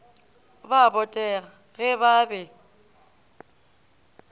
ba botega ge ba be